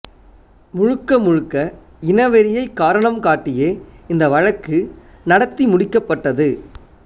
முழுக்க முழுக்க இனவெறியை காரணம் காட்டியே இந்த வழக்கு நடத்தி முடிக்கப்பட்டது